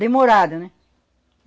Demorada, né?